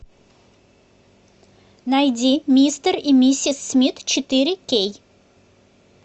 найди мистер и миссис смит четыре кей